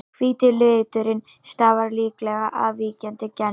Hvíti liturinn stafar líklega af víkjandi geni.